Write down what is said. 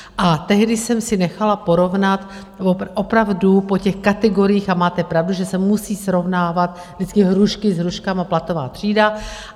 A tehdy jsem si nechala porovnat opravdu po těch kategoriích - a máte pravdu, že se musí srovnávat vždycky hrušky s hruškami, platová třída.